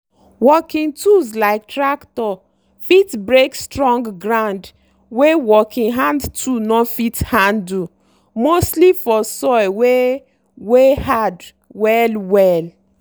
working tools like tractor fit break strong ground wey working hand tool no fit handle mostly for soil wey wey hard well-well.